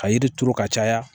Ka yiri turu ka caya